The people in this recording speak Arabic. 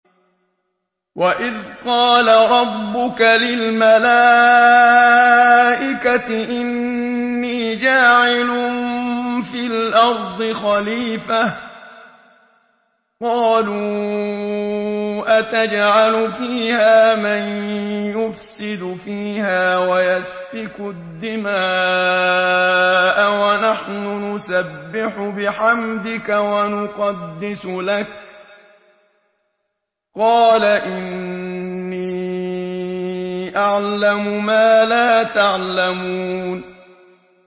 وَإِذْ قَالَ رَبُّكَ لِلْمَلَائِكَةِ إِنِّي جَاعِلٌ فِي الْأَرْضِ خَلِيفَةً ۖ قَالُوا أَتَجْعَلُ فِيهَا مَن يُفْسِدُ فِيهَا وَيَسْفِكُ الدِّمَاءَ وَنَحْنُ نُسَبِّحُ بِحَمْدِكَ وَنُقَدِّسُ لَكَ ۖ قَالَ إِنِّي أَعْلَمُ مَا لَا تَعْلَمُونَ